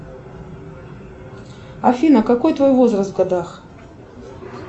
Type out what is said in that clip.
афина какой твой возраст в годах